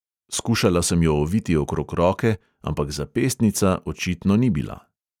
Skušala sem jo oviti okrog roke, ampak zapestnica očitno ni bila.